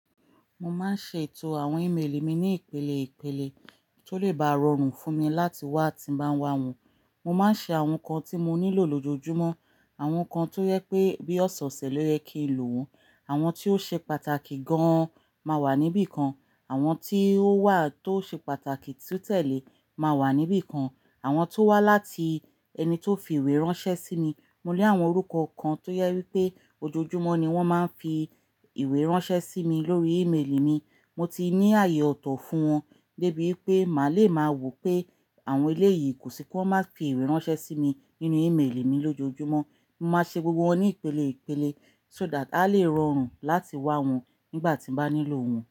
Mo máa ń ṣètò àwọn ímeèlì mi ní ìpele ìpele tó lè bá rọrùn fún mi láti wá tí bá ń wá wọn. Mo máa ń ṣe àwọn nǹkan tí mo nílò lójoojúmọ́, àwọn nǹkan tó yẹ pé bí ọ̀sọ̀ọ̀sẹ̀ ló yẹ kí n lo wọ́n, àwọn tí ó ṣe pàtàkì gan-an máa wà níbí kan, àwọn tí ó wà tó ṣe pàtàkì tí ó tẹ̀lé máa wà níbí kan, àwọn tó wá láti ẹni tó fi ìwé ránṣẹ́ sí mi. Mo lé àwọn orúkọ kan tó yẹ wípé ojoojúmọ́ ni wón máa ń fi ìwé ránṣẹ́ sí mi lórí ímeèlì mi. Mo ti ní ààyè ọ̀tọ̀ fún wọn dé bí wipe má lè máa wò pé àwọn ilé yìí kò sí pé wọ́n máa fi ìwé ránṣẹ́ sí mi nínú ímeèlì mi lójoojúmọ́. Mo máa ṣe gbogbo wọn ní ìpele ìpele so that á lè rọrùn láti wá wọn nígbà tí n bá nílò wọn.